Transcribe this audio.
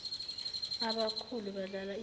abakhulu badlala ibhola